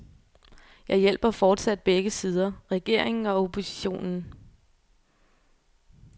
Jeg hjælper fortsat begge sider, regeringen og oppositionen.